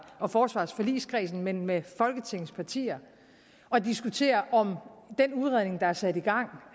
og forsvarsforligskredsen men med folketingets partier og diskuterer om den udredning der er sat i gang